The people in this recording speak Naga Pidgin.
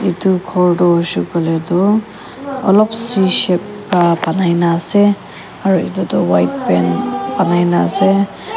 etu ghor tu hoishey koi le tu olop c shape pa banai na ase aru etu tu white paint banai na ase.